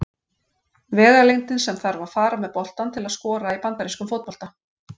Vegalengdin sem þarf að fara með boltann til að skora í bandarískum fótbolta.